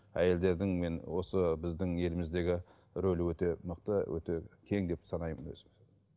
әйелдердің мен осы біздің еліміздегі рөлі өте мықты өте кең деп санаймын өзім